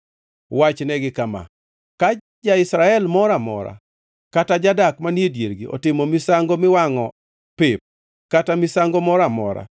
“Wachnegi kama: ‘Ka ja-Israel moro amora kata jadak manie diergi otimo misango miwangʼo pep, kata misango moro amora,